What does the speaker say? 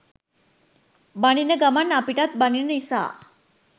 බනින ගමන් අපිටත් බනින නිසා